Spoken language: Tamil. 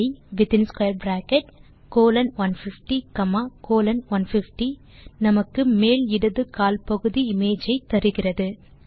Icolon 150 காமா கோலோன் 150 நமக்கு மேல் இடது கால் பகுதி இமேஜ் ஐ தருகிறது